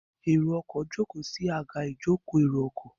Èrò ọkọ̀ jókòó sí Àga ìjókòó èrò ọkọ̀